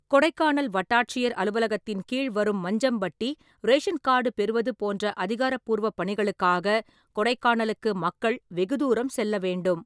கொடைக்கானல் வட்டாட்சியர் அலுவலகத்தின் கீழ் வரும் மஞ்சம்பட்டி, ரேஷன் கார்டு பெறுவது போன்ற அதிகாரப்பூர்வ பணிகளுக்காக கொடைக்கானலுக்கு மக்கள் வெகுதூரம் செல்ல வேண்டும்.